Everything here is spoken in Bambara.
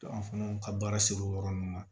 an fana ka baara ser'o yɔrɔ nunnu ma